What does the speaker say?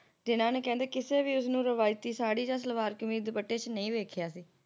ਜਿੰਨਾ ਨੇ ਕਹਿੰਦੇ ਕਿਸੇ ਵੀ ਉਸਨੂੰ ਰਵਾਇਤੀ ਸਾੜੀ ਜਾਂ ਸਲਵਾਰ ਕਮੀਜ਼ ਜਾਂ ਦੁਪੱਟੇ ਚ ਨਹੀਂ ਦੇਖਿਆ ਸੀ